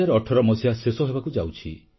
2018 ମସିହା ଶେଷ ହେବାକୁ ଯାଉଛି